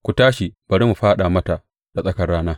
Ku tashi, bari mu fāɗa mata da tsakar rana!